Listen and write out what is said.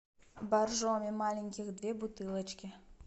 боржоми маленьких две бутылочки